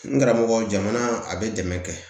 N karamɔgɔ jamana a bɛ dɛmɛ kɛ